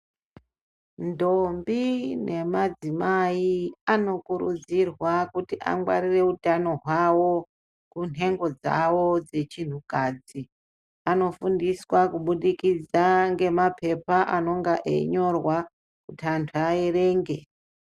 Ntombi nemadzimai anokurudzirwa kuti angwarire utano hwawo kunhengo dzawo dzechinhukadzi vanofundiswa kubudikidza ngemapepa anonga einyorwa kuti anthu aerenge.